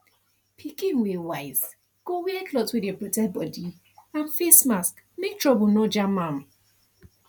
pikin wey wise go wear cloth wey dey protect body and face mask make trouble nor jam am